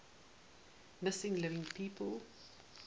missing living people